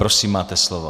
Prosím, máte slovo.